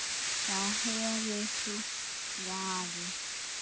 Þar hefurðu svarið.